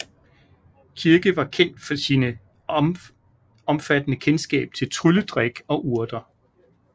Kirke var kendt for sin omfattende kendskab til trylledrik og urter